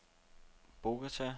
Bogota